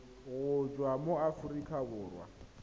go tswa mo aforika borwa